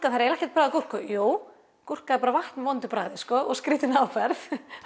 það er ekkert bragð af gúrku jú gúrka er bara vatn með vondu bragði og áferð